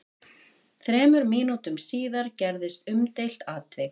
Þremur mínútum síðar gerðist umdeilt atvik.